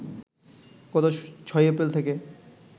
গত ৬ এপ্রিল থেকে